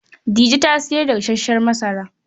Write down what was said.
Dije ta sayar da gasassen masara.